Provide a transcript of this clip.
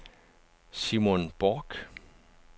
Simon Bork